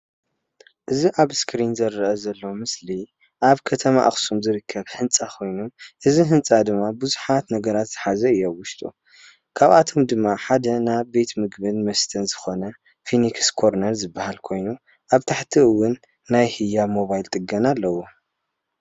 እዚ ኣብ እስከሪን ዝረኣ ዘሎ ምስሊ ኣብ ከተማ ኣክሱም ዝርከብ ህንፃ ኮይኑ እዚ ህንፃ ድማ ቡዙሓት ነገራት ዝሓዘ እዩ ኣብ ውሽጡ። ካብኣቶም ድማ ሓደ ናብ ቤት ምግብን መሰተን ዝኮነ ፊኒክሰ ኮርነር ዝበሃል ኮይኑ ኣብ ታሕቲ እውን ናይ ህያብ ሞባይል ጥገና ኣለዎ።